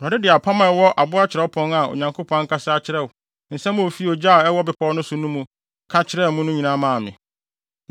Awurade de apam a ɛwɔ abo kyerɛwpon a Onyankopɔn ankasa akyerɛw nsɛm a ofi ogya a ɛwɔ bepɔw no so no mu ka kyerɛɛ mo no nyinaa maa me.